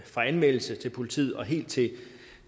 fra anmeldelse til politiet og helt